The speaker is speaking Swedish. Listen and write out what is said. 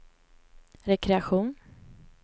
rekreation